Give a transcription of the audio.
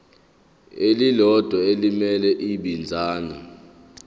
elilodwa elimele ibinzana